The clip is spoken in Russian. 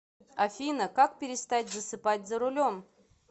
афина как перестать засыпать за рулем